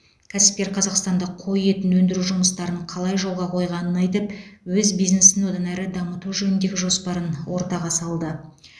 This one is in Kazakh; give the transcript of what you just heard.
кәсіпкер қазақстанда қой етін өндіру жұмыстарын қалай жолға қойғанын айтып өз бизнесін одан әрі дамыту жөніндегі жоспарын ортаға салды